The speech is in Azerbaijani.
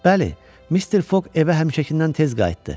Bəli, Mister Foq evə həmişəkindən tez qayıtdı.